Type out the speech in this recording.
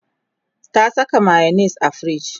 ta Saka mayonis a firij